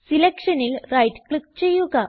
Selectionൽ right click ചെയ്യുക